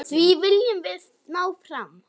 Því viljum við ná fram.